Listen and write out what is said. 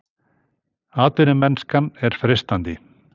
Atvinnumennskan er freistandi